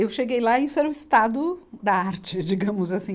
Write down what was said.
Eu cheguei lá e isso era o estado da arte, digamos assim.